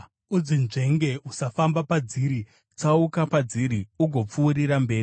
Udzinzvenge, usafamba padziri; tsauka padziri ugopfuurira mberi.